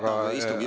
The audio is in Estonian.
Aitäh!